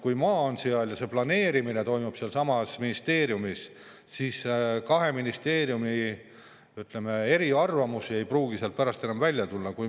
Kui maa on seal ja planeerimine toimub ka sealsamas ministeeriumis, siis ei pruugi kahe ministeeriumi, ütleme, eriarvamused enam välja tulla.